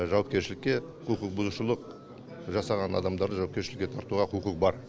жауапкершілікке құқық бұзушылық жасаған адамдарды жауапкершілікке тартуға құқығы бар